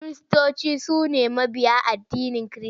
Kiristoci su ne mabiya addinin Kirista.